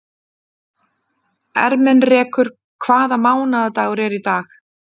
Ermenrekur, hvaða mánaðardagur er í dag?